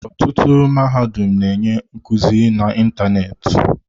Ọtụtụ mahadum na-enye nkuzi n'ịntanetị.